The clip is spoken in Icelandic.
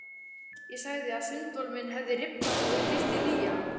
Ég sagði að sundbolurinn minn hefði rifnað og ég þyrfti nýjan.